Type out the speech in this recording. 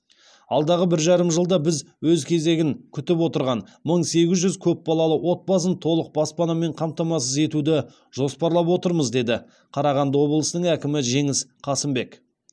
алдағы бір жарым жылда біз өз кезегін күтіп отырған мың сегіз жүз көп балалы отбасын толық баспанамен қамтамасыз етуді жоспарлап отырмыз деді қарағанды облысының әкімі жеңіс қасымбек